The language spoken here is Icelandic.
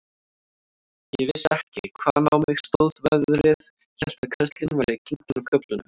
Ég vissi ekki, hvaðan á mig stóð veðrið, hélt að karlinn væri genginn af göflunum.